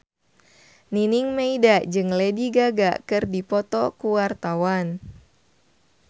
Nining Meida jeung Lady Gaga keur dipoto ku wartawan